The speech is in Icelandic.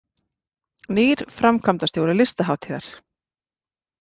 Nýr framkvæmdastjóri Listahátíðar